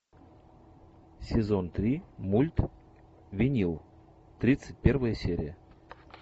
сезон три мульт винил тридцать первая серия